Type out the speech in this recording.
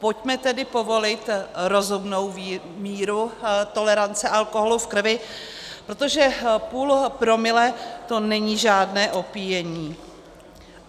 Pojďme tedy povolit rozumnou míru tolerance alkoholu v krvi, protože půl promile, to není žádné opíjení.